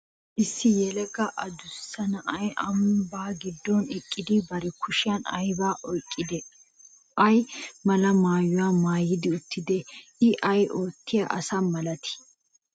Issi yelaga adussa na'ay ambbaa giddon eqqidi bari kushiyan aybaa oyqqidi, ay mala maayuwa maayidi uttidee? I ay oottiya asa malatii?